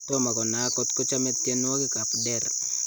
Tomakonaak kotko chame tienywoki ap Der